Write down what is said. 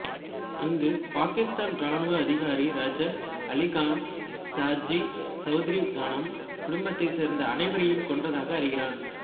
அங்கு பாகிஸ்தான் ராணுவ அதிகாரி ரஜாக் அலிகான் ஷாஜி சௌத்ரி காணம் குடும்பத்தைச் சேர்ந்த அனைவரையும் கொன்றதை அறிகிறான்